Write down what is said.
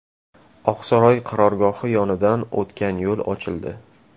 Oqsaroy qarorgohi yonidan o‘tgan yo‘l ochildi .